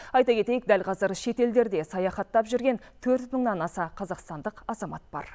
айта кетейік дәл қазір шетелдерде саяхаттап жүрген төрт мыңнан аса қазақстандық азамат бар